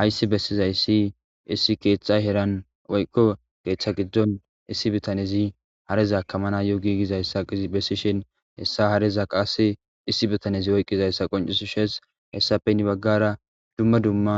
hayssi bessizayssi issi keetha heran woyqko keththa giddon issi bitanezi hareza kamana yo giigizayssa ibessishin hessa hareza qasi issi bitanezi oyqqizayssa qoncisishees hessafe nni baggara dumma dumma